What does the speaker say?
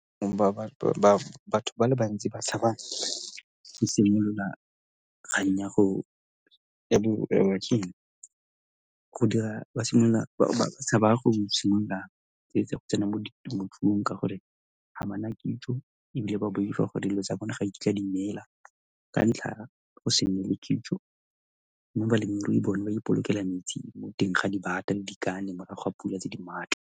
Batho ba le bantsi ba tshaba go simolola kgang ya go dira ba simolola ba tshaba go go tsene mo temothuong ka gore ga bana kitso ebile ba boifa go dilo tsa bone ga nkitla di neela ka ntlha ya go se nne le kitso mme balemirui bone ba ipolokela metsi mo teng ga dibata le dikane morago ga pula tse di maatla.